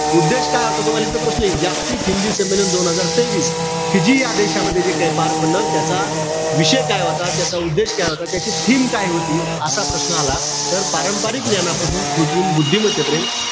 उद्देश काय होतो तुम्हाला इथे प्रश्न येईल. जागतिक हिंदी संमेलन दोन हजार तेवीस. फिजी या देशामध्ये जे काय पार पडलं. त्याचा विषय काय होता. त्याचा उद्देश काय होता. त्याची theme काय होती. असा प्रश्न आला, तर पारंपरिक ज्ञानापासून कृत्रिम बुद्धिमत्तेपर्यंत.